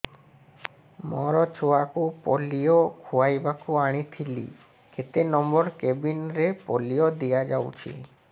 ମୋର ଛୁଆକୁ ପୋଲିଓ ଖୁଆଇବାକୁ ଆଣିଥିଲି କେତେ ନମ୍ବର କେବିନ ରେ ପୋଲିଓ ଦିଆଯାଉଛି